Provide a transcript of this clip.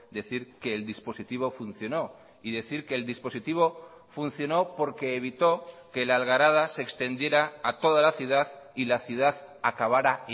decir que el dispositivo funcionó y decir que el dispositivo funcionó porque evitó que la algarada se extendiera a toda la ciudad y la ciudad acabara